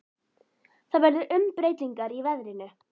Það verða umbreytingar í veðrinu.